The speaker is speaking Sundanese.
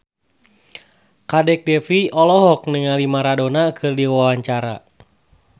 Kadek Devi olohok ningali Maradona keur diwawancara